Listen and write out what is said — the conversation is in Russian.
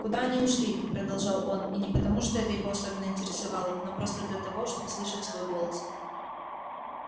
куда они ушли продолжал он и не потому что это его особенно интересовало но просто для того чтобы слышать свой голос